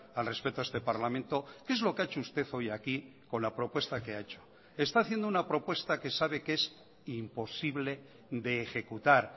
al respeto a este parlamento qué es lo que ha hecho usted hoy aquí con la propuesta que ha hecho está haciendo una propuesta que sabe que es imposible de ejecutar